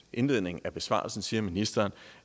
indledningen af besvarelsen siger ministeren